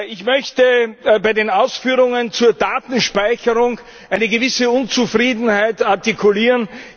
Ich möchte bei den Ausführungen zur Datenspeicherung eine gewisse Unzufriedenheit artikulieren.